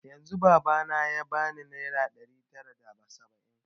Yanzun baba na ya bani naira ɗari tara da saba'in